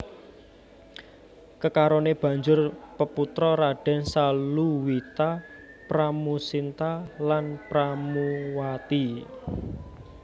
Kekarone banjur peputra Raden Saluwita Pramusinta lan Pramuwati